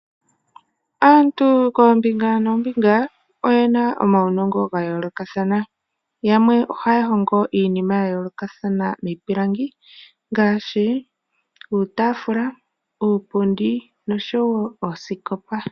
Aantu koombinga noombinga oyena omaunongo gayoolokathana, yamwe ohaya hongo iinima yayoolokathana miipilangi ngaashi iitafula, iipundi osho wo oosikopa.